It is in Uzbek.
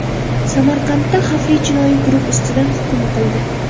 Samarqandda xavfli jinoiy guruh ustidan hukm o‘qildi.